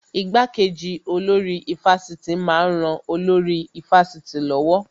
Ìgbàkeji olórí ifásitì máa ń ran olórí ifásitì lọ́wọ́